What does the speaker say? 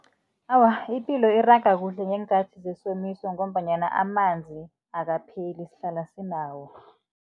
Awa, ipilo iraga kuhle ngeenkhathi zesomiso ngombanyana amanzi akapheli sihlala sinawo.